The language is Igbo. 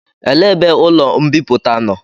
Elee ebe ụlọ mbipụta nọ?